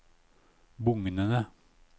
bugnende